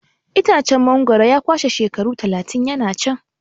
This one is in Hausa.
Itacen mangwaro ya kwashe shekaru talatin yana can.